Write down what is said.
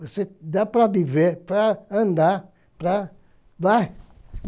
Você dá para viver, para andar, para... Vai!